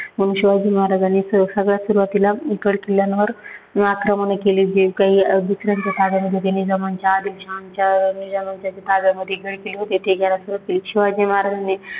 मग शिवाजी महाराजांनी सगळ्यांत सुरुवातीला गड किल्ल्यांवर आक्रमण केली, जे काही दुसर्यांच्या ताब्यात होती जे निजामांच्या, आदिलशहांच्या, निजामांच्या ताब्यामध्ये होती गडकिल्ले होती. ते घ्यायला सुरुवात केली.